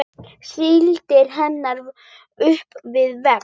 Stillir henni upp við vegg.